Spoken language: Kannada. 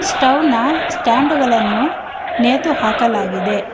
ಸ್ಟವ್ ನ ಸ್ಟ್ಯಾಂಡುಗಳನ್ನು ನೇತು ಹಾಕಲಾಗಿದೆ.